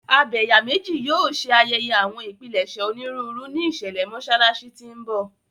Abẹ̀yàmejì yóò ṣe ayẹyẹ àwọn ìpilẹ̀ṣẹ̀ onírúurú ní ìṣẹ̀lẹ̀ Mọ́ṣáláṣí tí ń bọ̀.